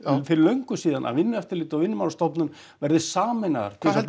fyrir löngu síðan að Vinnueftirlitið og Vinnumálastofnun verði sameinaðar hvað heldurðu